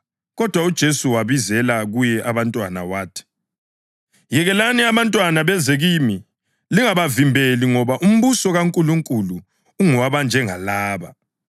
Kodwa uJesu wabizela kuye abantwana wathi, “Yekelani abantwana beze kimi, lingabavimbeli ngoba umbuso kaNkulunkulu ungowabanjengalaba.